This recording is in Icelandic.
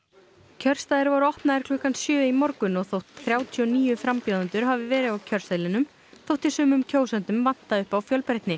kjörstaðir voru opnaðir klukkan sjö í morgun og þótt þrjátíu og níu frambjóðendur hafi verið á kjörseðlinum þótti sumum kjósendum vanta upp á fjölbreytni